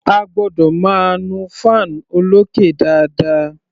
A gbọ́dọ̀ máa nu fan olókè dáadáa.